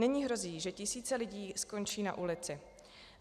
Nyní hrozí, že tisíce lidí skončí na ulici.